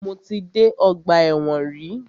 Mo ti dé ọgbà ẹ̀wọ̀n rí.